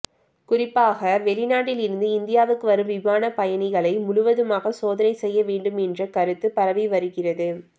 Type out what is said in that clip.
குறிப்பாக வெளிநாட்டில் இருந்து இந்தியாவுக்கு வரும் விமான பயணிகளை முழுவதுமாக சோதனை செய்ய வேண்டும் என்ற கருத்து பரவி வருகிறது